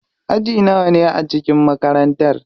Aji nawane ne a cikin makarantar?